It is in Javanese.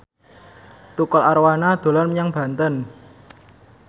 Tukul Arwana dolan menyang Banten